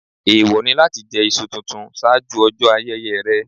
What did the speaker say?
Èèwọ̀ ni láti jẹ iṣu tuntun ṣáájú ọjọ́ ayẹyẹ rẹ̀.